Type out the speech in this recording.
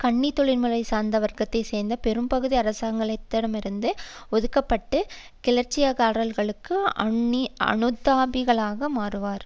சுன்னி தொழில்முறை சார்ந்த வர்க்கத்தை சேர்ந்த பெரும்பகுதி அரசாங்கத்திலிருந்து ஒதுக்க பட்டு கிளர்ச்சிக்காரர்களுக்கு அனுதாபிகளாக மாறுவர்